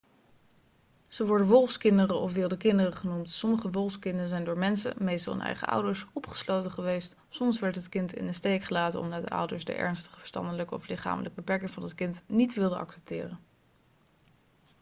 ze worden 'wolfskinderen' of 'wilde kinderen' genoemd. sommige wolfskinderen zijn door mensen meestal hun eigen ouders opgesloten geweest; soms werd dit kind in de steek gelaten omdat de ouders de ernstige verstandelijke of lichamelijke beperking van het kind niet wilden accepteren